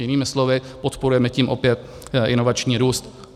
Jinými slovy, podporujeme tím opět inovační růst.